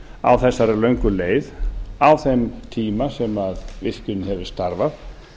á þessari löngu leið á þeim tíma sem virkjunin hefur starfað